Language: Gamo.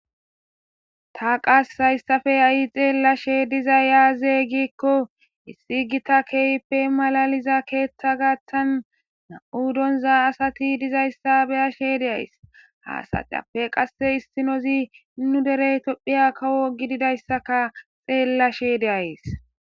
Ta qas hayssafe a'i xeellashe diza yaazeygikko issi gita keeyppe malaliza keeththa gaattan na'u donza asati dizayssa beyashe deays haasaxappe qasse issinozi nu derey toddphiya kawo gididayssaka xeellashe deayys.